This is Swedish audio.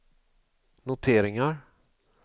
noteringar